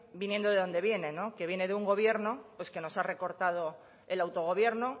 viniendo de donde viene que viene de un gobierno pues que nos ha recortado el autogobierno